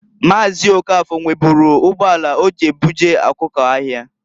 Maazị Okafor nweburu ugboala oji ebuje ọkụko̻ ahịa.